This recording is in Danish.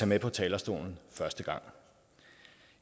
med på talerstolen første gang